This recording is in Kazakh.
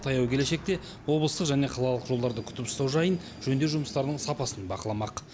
таяу келешекте облыстық және қалалық жолдарды күтіп ұстау жайын жөндеу жұмыстарының сапасын бақыламақ